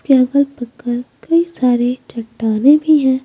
के अगल पक्कल कई सारे चट्टाने भी हैं।